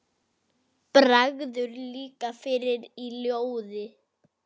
Ég vék mér að þeim.